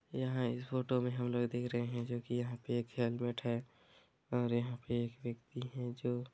यहाँ इस फोटो मे हम लोग देख रहे जो कि यहाँ पे एक हेलमेट है और यहाँ पे एक व्यक्ति है जो--